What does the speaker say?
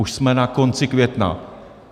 Už jsme na konci května.